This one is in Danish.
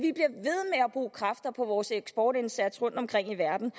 bruge kræfter på vores eksportindsats rundt omkring i verden